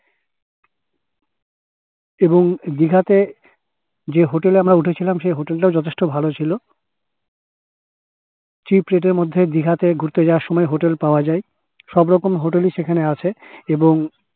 এবং দীঘাতে যে hotel এ আমরা উঠেছিলাম সেই hotel টাও যথেষ্ট ভালো ছিল cheap rate এর মধ্যে দিঘা তে ঘুরতে যাওয়ার সময় hotel পাওয়া যাই সব রকম hotel ই সেখানে আছে এবং